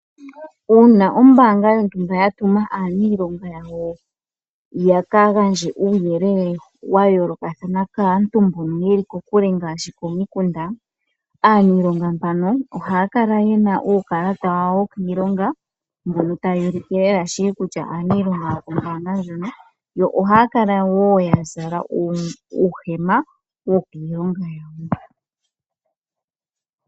Uuna ombaanga yontumba ya tuma aaniilonga yawo yaka gandje uuyelele wa yoolokathana kaantu mbono yeli kokule ngaashi komikunda. Aaniilonga mbano ohaya kala yena uukalata wawo wokiilonga mbono tawu ulike lela shili kutya aaniilonga yokombaanga ndjono yo ohaya kala wo ya zala uuhema wokiiilonga.